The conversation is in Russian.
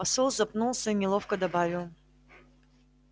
посол запнулся и неловко добавил